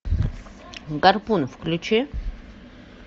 гарпун включи